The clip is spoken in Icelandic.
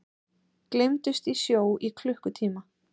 Gleymdust í sjó í klukkutíma